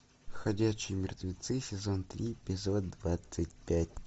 ходячие мертвецы сезон три эпизод двадцать пять